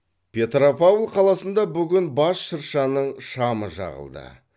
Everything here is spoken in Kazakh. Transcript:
петропавл қаласында бүгін бас шыршаның шамы жағылды